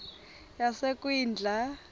yasekwindla